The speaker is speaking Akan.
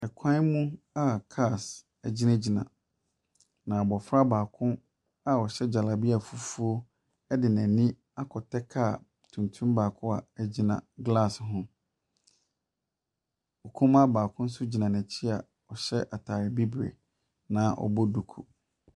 Ɛkwan mu a cars gyinagyina na abofra baako a ɔhyɛ jalabia fufuo ɛde n'ani akɔtɛ car tuntum baako a agyina glass ho. Ɔkumaa baako nso gyina n'akyi a ɔhyɛ ataade biribire na ɔbɔ duku.